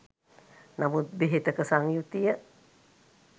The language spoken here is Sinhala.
නමුත් බෙහෙතක සංයුතිය